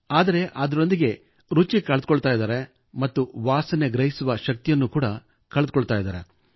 ಆದರೆ ಅದರೊಂದಿಗೆ ರುಚಿ ಕಳೆದುಕೊಳ್ಳುತ್ತಾರೆ ಮತ್ತು ವಾಸನೆ ಗ್ರಹಿಸುವ ಶಕ್ತಿಯನ್ನು ಕಳೆದುಕೊಳ್ಳುತ್ತಾರೆ